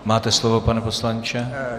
Máte slovo, pane poslanče.